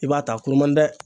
I b'a ta a kuru man di dɛ